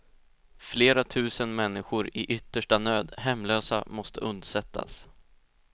Flera tusen människor i yttersta nöd, hemlösa, måste undsättas.